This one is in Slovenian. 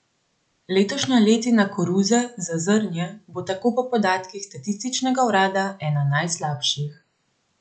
Letošnja letina koruze za zrnje bo tako po podatkih statističnega urada ena slabših.